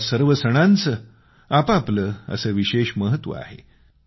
या सर्व सणांचे आप आपले असे विशेष महत्व आहे